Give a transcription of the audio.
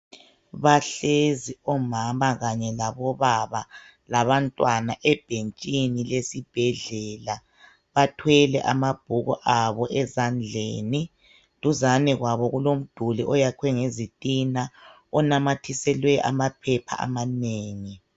Bahlezi omama kanye labobaba labantwana ebhentshini lesibhedlela bathwele amabhuku abo ezandleni. Duzane kwabi kulomduli oyakhiwe ngezitina onamathiselwe amaphepha amanengi.